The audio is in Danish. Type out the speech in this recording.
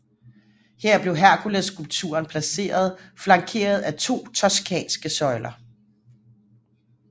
Her blev Herkulesskulpturen placeret flankeret af to toscanske søjler